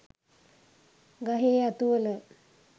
ගහේ අතුවල